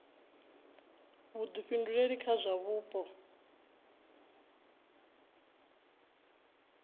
vhuḓifhinduleli kha zwa vhupo a